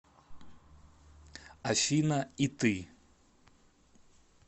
афина и ты